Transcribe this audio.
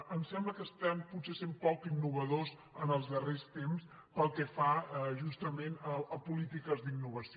em sembla que potser són poc innovadors en els darrers temps pel que fa justament a polítiques d’innovació